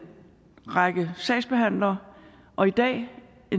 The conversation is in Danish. række sagsbehandlere og i dag